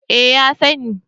Eh, ya sani